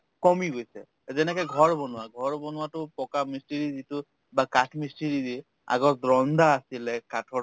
কমি গৈছে যেনেকে ঘৰ বনোৱা ঘৰ বনোৱাতো পকা মিস্ত্ৰী যিটো বা কাঠ মিস্ত্ৰী যি আগত ৰন্দা আছিলে কাঠৰ